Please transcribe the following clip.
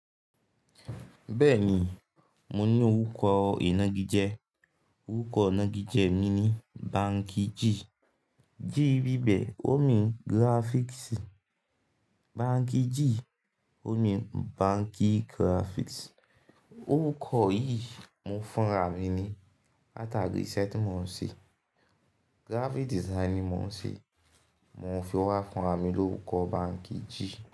Bẹ́ẹ̀ni, mo ní orúkọ ìnagijẹ. Orúkọ ìnagijẹ mi ni Banky G. G bí bẹ̀ o mi Graphics. Banky G o mi Banky Graphics. Orúkọ yìí mo fúnra mi ni látàrí iṣẹ́ tí mo ń ṣe graphic design ni mo ń ṣe. Mo fi wá fúnra mi lórúkọ Banky G.